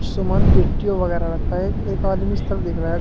समान पेटी वगैरा रखा है एक आदमी इस तरफ देख रहा है।